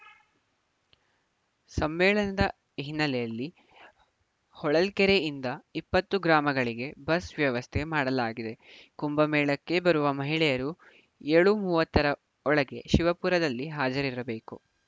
ಸಮ್ಮೇಳನದ ಹಿನ್ನೆಲೆಯಲ್ಲಿ ಹೊಳಲ್ಕೆರೆಯಿಂದ ಇಪ್ಪತ್ತು ಗ್ರಾಮಗಳಿಗೆ ಬಸ್‌ ವ್ಯವಸ್ಥೆ ಮಾಡಲಾಗಿದೆ ಕುಂಭಮೇಳಕ್ಕೆ ಬರುವ ಮಹಿಳೆಯರು ಏಳು ಮೂವತ್ತರ ಒಳಗೆ ಶಿವಪುರದಲ್ಲಿ ಹಾಜರಿರಬೇಕು